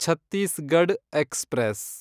Chhattisgarh express